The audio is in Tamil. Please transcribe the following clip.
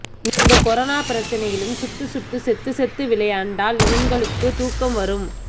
இந்த கொரோனா பிரச்சினையிலும் சுட்டு சுட்டு செத்து செத்து விளையாண்டால் இவனுங்களுக்கு தூக்கம் வரும்